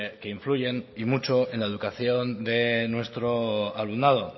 que influyen y mucho en la educación de nuestro alumnado